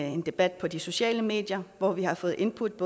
en debat på de sociale medier hvor vi har fået indput